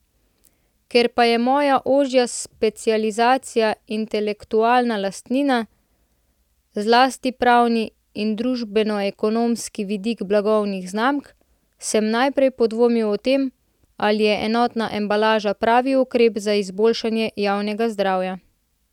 Ker pa je moja ožja specializacija intelektualna lastnina, zlasti pravni in družbenoekonomski vidiki blagovnih znamk, sem najprej podvomil o tem, ali je enotna embalaža pravi ukrep za izboljšanje javnega zdravja.